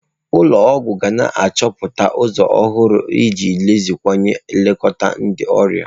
Ụlọ ọgwụ ga na-achọta ụzọ ọhụrụ iji meziwanye nlekọta ndị ọrịa.